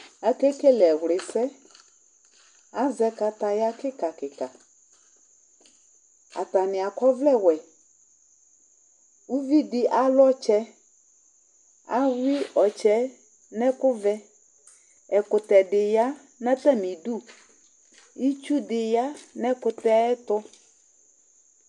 Akekele ɛwlɩsɛ Azɛ kataya kɩka kɩka Atanɩ akɔ ɔvlɛwɛ Uvi dɩ alʋ ɔtsɛ Ayʋɩ ɔtsɛ yɛ nʋ ɛkʋvɛ Ɛkʋtɛ dɩ ya nʋ atamɩdu Itsu dɩ ya nʋ ɛkʋtɛ yɛ tʋ